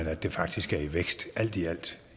at det faktisk er i vækst alt i alt